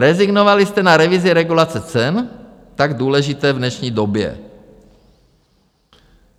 Rezignovali jste na revizi regulace cen, tak důležité v dnešní době.